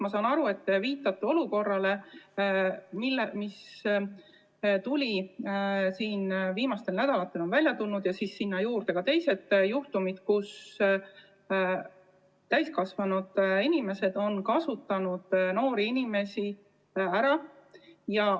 Ma saan aru, et te viitate olukorrale, mis siin viimastel nädalatel on välja tulnud, ja ka teistele juhtumitele, kus täiskasvanud inimesed on noori inimesi ära kasutanud.